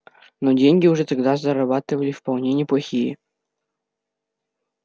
но деньги уже тогда зарабатывали вполне неплохие